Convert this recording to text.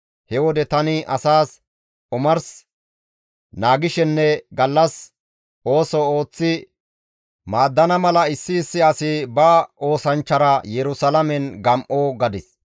He wode tani asaas, «Omars naagishenne gallas ooso ooththi maaddana mala issi issi asi ba oosanchchara Yerusalaamen gam7o» gadis.